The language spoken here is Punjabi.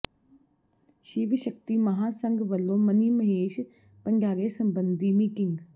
ਸ਼ਿਵ ਸ਼ਕਤੀ ਮਹਾਂਸੰਘ ਵੱਲੋਂ ਮਨੀ ਮਹੇਸ਼ ਭੰਡਾਰੇ ਸਬੰਧੀ ਮੀਟਿੰਗ